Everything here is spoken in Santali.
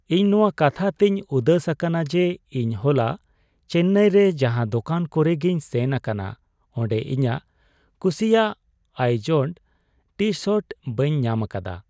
ᱤᱧ ᱱᱚᱣᱟ ᱠᱟᱛᱷᱟ ᱛᱮᱧ ᱩᱫᱟᱹᱥ ᱟᱠᱟᱱᱟ ᱡᱮ ᱤᱧ ᱦᱚᱞᱟ ᱪᱮᱱᱱᱟᱭ ᱨᱮ ᱡᱟᱦᱟᱸ ᱫᱚᱠᱟᱱ ᱠᱚᱨᱮ ᱜᱮᱧ ᱥᱮᱱ ᱟᱠᱟᱱᱟ ᱚᱸᱰᱮ ᱤᱧᱟᱜ ᱠᱩᱥᱤᱭᱟᱜ ᱟᱭᱡᱳᱰ ᱴᱤᱼᱥᱟᱨᱴ ᱵᱟᱹᱧ ᱧᱟᱢ ᱟᱠᱟᱫᱟ ᱾